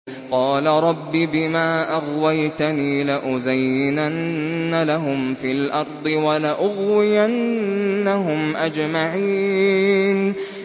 قَالَ رَبِّ بِمَا أَغْوَيْتَنِي لَأُزَيِّنَنَّ لَهُمْ فِي الْأَرْضِ وَلَأُغْوِيَنَّهُمْ أَجْمَعِينَ